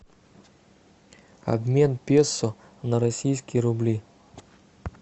обмен песо на российские рубли